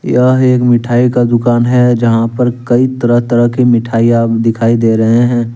यह एक मिठाइ का दुकान है जहाँ पर कई तरह तरह के मिठाइयां दिखाई दे रहे हैं।